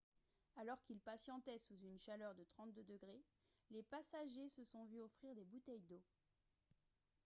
alors qu'ils patientaient sous une chaleur de 32 ° c les passagers se sont vu offrir des bouteilles d'eau